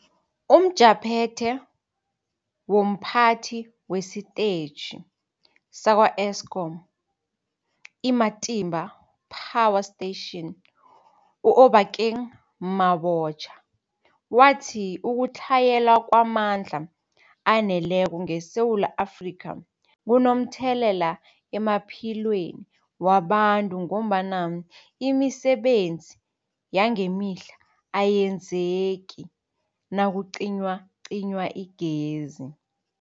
UmJaphethe womPhathi wesiTetjhi sakwa-Eskom i-Matimba Power Station u-Obakeng Mabotja wathi ukutlhayela kwamandla aneleko ngeSewula Afrika kunomthelela emaphilweni wabantu ngombana imisebenzi yangemihla ayenzeki nakucinywacinywa igezi.